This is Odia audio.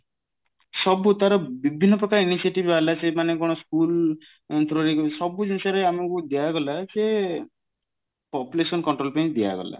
ସବୁ ତାର ବିଭିନ୍ନ ପ୍ରକାର initiative ବାହାରିଲା ସିଏ ମାନେ କଣ school through ରେ ବି ସବୁ ଜିନିଷ ରେ ଆମକୁ ଦିଆଗଲା ଯେ population control ପାଇଁ ଦିଆଗଲା